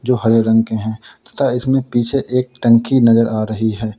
जो हरे रंग के हैं तथा इसमें पीछे एक टंकी नजर आ रही है।